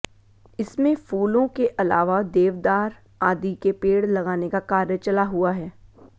इसमें फूलों के अलावा देवदार आदि के पेड़ लगाने का कार्य चला हुआ है